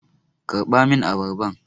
Karɓa min abarban!